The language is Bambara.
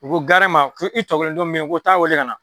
U ko garɛn ma k' i tɔkelen dɔn min bɛ ye ko taa wele ka na.